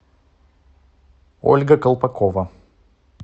ольга колпакова